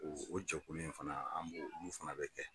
O jɛkulu in fana an b'o an b'o fana bɛ kɛ